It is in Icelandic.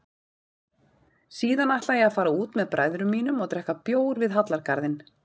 Síðan ætla ég að fara út með bræðrum mínum og drekka bjór við Hallargarðinn.